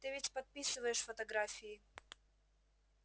ты ведь подписываешь фотографии